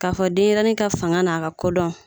K'a fɔ denyɛrɛni ka fanga n'a ka kodɔn